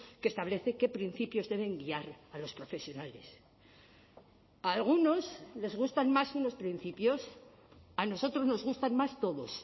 que establece qué principios deben guiar a los profesionales a algunos les gustan más unos principios a nosotros nos gustan más todos